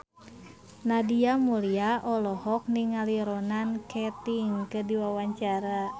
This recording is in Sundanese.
Nadia Mulya olohok ningali Ronan Keating keur diwawancara